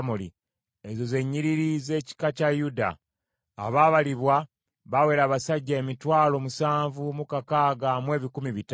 Ezo ze nnyiriri z’ekika kya Yuda. Abaabalibwa baawera abasajja emitwalo musanvu mu kakaaga mu ebikumi bitaano (76,500).